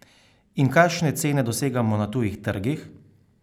In kakšne cene dosegamo na tujih trgih?